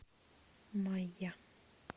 майя